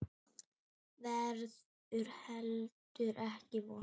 Verður heldur ekki vondur.